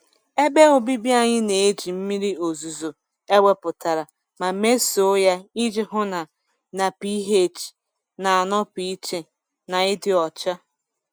Ebe obibi anyị na-eji mmiri ozuzo ewepụtara ma mesoo ya iji hụ na na pH na-anọpụ iche na ịdị ọcha.